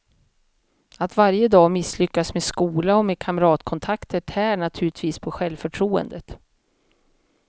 Att varje dag misslyckas med skola och med kamratkontakter tär naturligtvis på självförtroendet.